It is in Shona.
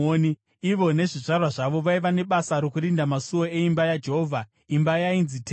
Ivo nezvizvarwa zvavo vaiva nebasa rokurinda masuo eimba yaJehovha, imba yainzi Tende.